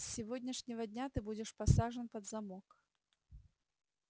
с сегодняшнего дня ты будешь посажен под замок